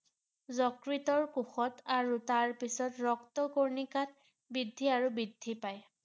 যকৃতৰ কোষত আৰু তাৰ পিছত ৰক্তকণিকাত বৃদ্ধি আৰু বৃদ্ধি পায় ৷